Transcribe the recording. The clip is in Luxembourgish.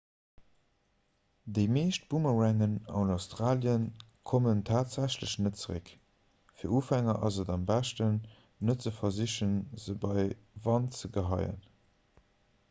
déi meescht boomerangen an australie kommen tatsächlech net zeréck fir ufänger ass et am beschten net ze versichen se bei wand ze geheien